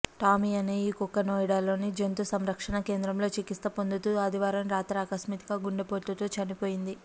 Tommy అనే ఈ కుక్క నోయిడాలోని జంతు సంరక్షణ కేంద్రంలో చికిత్స పొందుతూ ఆదివారం రాత్రి ఆకస్మిక గుండెపోటుతో చనిపోయింది